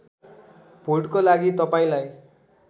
भोटको लागि तपाईँलाई